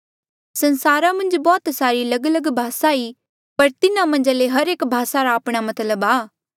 संसारा मन्झ बौह्त सारी लगलग भासा ई पर तिन्हा मन्झा ले हर एक भासा रा आपणा मतलब आ